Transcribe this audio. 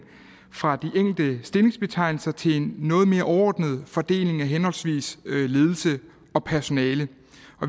fra de enkelte stillingsbetegnelser til en noget mere overordnet fordeling af henholdsvis ledelse og personale